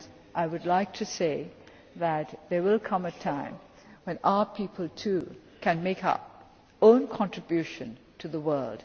proudly. I would like to say that there will come a time when our people too can make our own contribution to the